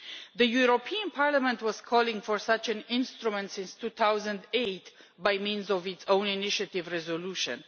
The European Parliament has been calling for such an instrument since 2008, by means of its own initiative resolution.